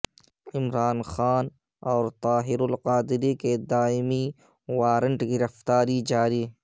عمران خان اور طاہر القادری کے دائمی وارنٹ گرفتاری جاری